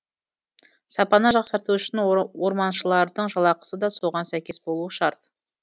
сапаны жақсарту үшін орманшылардың жалақысы да соған сәйкес болуы шарт